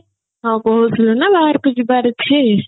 କଣ କହୁଥିଲୁ ନା ବାହାରକୁ ଯିବାର ଅଛି